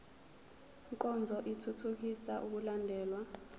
nkonzo ithuthukisa ukulandelwa